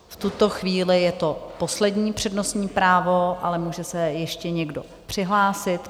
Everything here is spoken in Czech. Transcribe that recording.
V tuto chvíli je to poslední přednostní právo, ale může se ještě někdo přihlásit.